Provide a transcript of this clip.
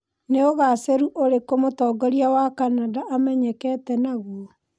Nĩ ũgacĩru ũrĩkũ Mũtongoria wa Canada amenyekete naguo?